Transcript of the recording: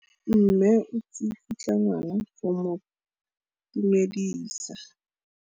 Mme o tsikitla ngwana go mo itumedisa.